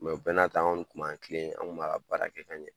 Mɛ o bɛɛ n'a ta anw tun b'an tilen, anw tun b'an ka baara ka ɲa.